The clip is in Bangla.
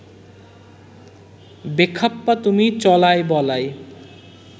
বেখাপ্পা তুমি চলায় বলায়